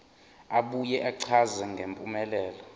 abuye achaze ngempumelelo